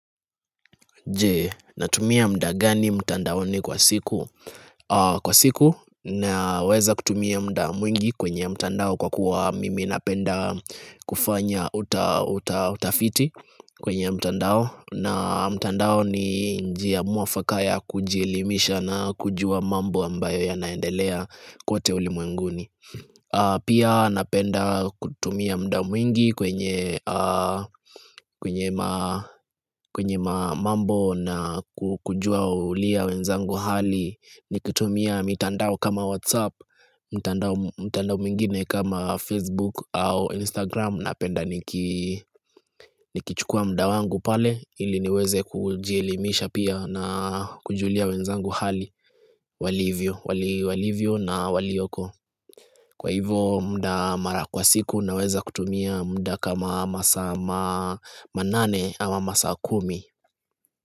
Je, natumia muda gani mtandaoni kwa siku? Kwa siku, naweza kutumia muda mwingi kwenye mtandao kwa kuwa mimi napenda kufanya utafiti kwenye mtandao na mtandao ni njia mwafakaya ya kujielimisha na kujua mambo ambayo yanaendelea kote ulimwenguni Pia napenda kutumia muda mwingi kwenye maa kwenye ma mambo na kujua ulia wenzangu hali Nikitumia mitandao kama whatsapp, mtandao mtandao mwingine kama facebook au instagram Napenda nikichukua muda wangu pale ili niweze kujielimisha pia na kujulia wenzangu hali walivyo walivyo na waliyoko Kwa hivyo muda mara kwa siku naweza kutumia muda kama masaa manane ama masa kumi.